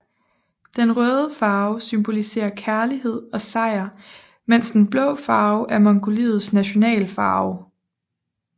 Den røde farve symboliserer kærlighed og sejr mens den blå farve er mongoliets national farve